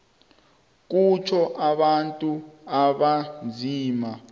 kutjho abantu abanzima